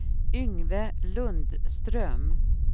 Yngve Lundström